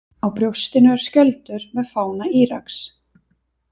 Á brjóstinu er skjöldur með fána Íraks.